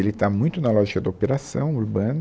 Ele está muito na lógica da operação urbana.